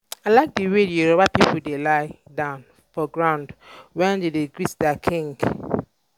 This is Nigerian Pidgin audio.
i like the way um the yoruba people dey lie down for ground wen dey wan greet their king